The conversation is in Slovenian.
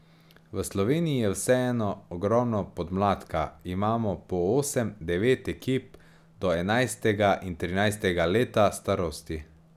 V Sloveniji je vseeno ogromno podmladka, imamo po osem, devet ekip do enajstega in trinajstega leta starosti.